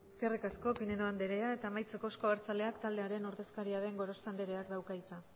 eskerrik asko pinedo andrea eta amaitzeko euzko abertzaleak taldearen ordezkaria den gorospe andreak dauka hitza